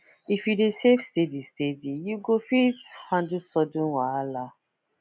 if you dey save steady steady you go fit handle sudden wahala